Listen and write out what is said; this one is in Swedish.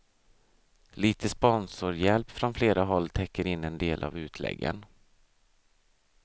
Lite sponsorhjälp från flera håll täcker in en del av utläggen.